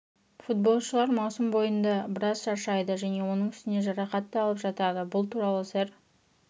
футболшылар маусым бойында біраз шаршайды және оның үстіне жарақат та алып жатады бұл туралы сэр